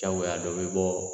Jagoya dɔ bɛ bɔ